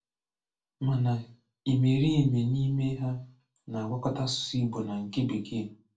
Mánà ìmèrììmè n’ímè hà na-agwọ̀kọ̀tà asụ̀sụ́ Ìgbò na nke Békee.